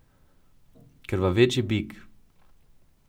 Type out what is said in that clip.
Krvaveči bik.